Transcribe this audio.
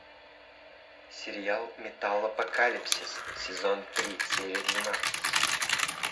сериал металлопокалипсис сезон три серия двенадцать